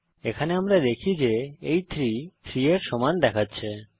এখানে আমরা দেখি এটি 3 3 এর সমান দেখাচ্ছে